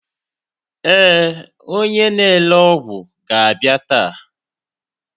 Ee, onye na-ere ọgwụ ga-abịa taa.